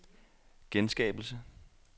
genskabelse